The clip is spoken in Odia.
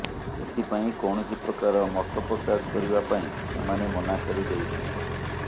ଏଥିପାଇଁ କୌଣସି ପ୍ରକାର ମତପ୍ରକାଶ କରିବା ପାଇଁ ସେମାନେ ମନା କରିଦେଉଛନ୍ତି